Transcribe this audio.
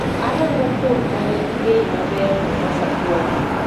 Arango kwuon manigi bei maber mombasa pwani